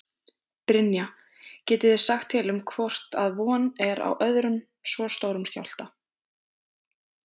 Brynja: Getið þið sagt til um hvort að von er á öðrum svo stórum skjálfta?